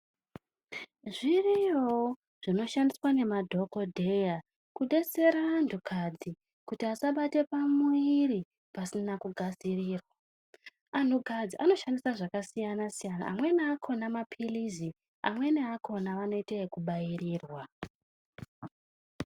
Zviriyowo zvinoshandiswa nemadhokodheya kubetsera antu kadzi kuti asabatwe pamuviri pasina kugadzirirwa, antu kadzi anoshandisa zvakasiyana siyana, amweni akhona mapirizi amweni akhona vanoita ekubairirwa.